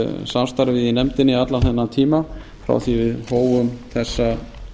samstarfið í nefndinni allan þennan tíma frá því við hófum þessa